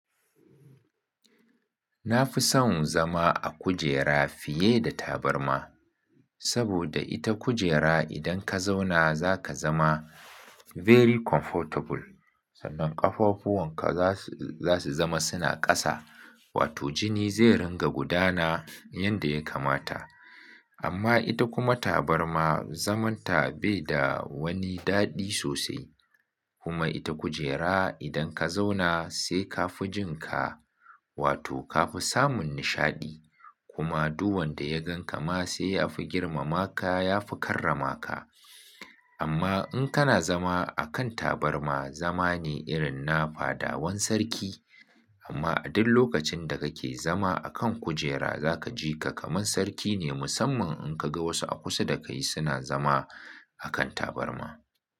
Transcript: Na fi son zama a kujera fiye da tabarma, saboda ita kujera idan ka zauna za ka zama very comfortable. Sannan ƙafafuwan ka za su zama suna ƙasa, wato jini zai ringa gudana yanda ya kamata. Amma ita kuma tabarma zamanta bai da woni daɗi sosai. Kuma ita kujera idan ka zauna sai ka fi jin ka wato ka fi samun nishaɗi. Kuma du wanda ya gan ka ma sai ya fi girmama ka, ya fi karrama ka. Amma in kana zama a kan tabarma, zama ne irin na fadawan sarki. Amma a duk lokacin da kake zama a kan kujera za ka ji ka kaman sarki ne musamman in ka ga wasu a kusa da kai suna zama a kan tabarma.